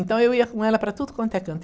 Então eu ia com ela para tudo quanto é canto.